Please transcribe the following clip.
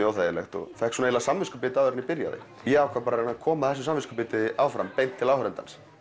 óþægilegt og fékk samviskubit áður en ég byrjaði ég ákvað að koma þessu samviskubiti áfram beint til áhorfenda